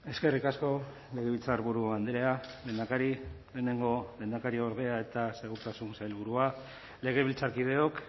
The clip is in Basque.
eskerrik asko legebiltzarburu andrea lehendakari lehenengo lehendakariordea eta segurtasun sailburua legebiltzarkideok